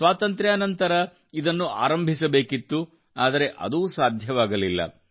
ಸ್ವಾತಂತ್ರ್ಯಾನಂತರ ಇದನ್ನು ಆರಂಭಿಸಬೇಕಿತ್ತು ಆದರೆ ಅದೂ ಸಾಧ್ಯವಾಗಲಿಲ್ಲ